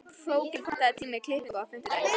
Hróðgeir, pantaðu tíma í klippingu á fimmtudaginn.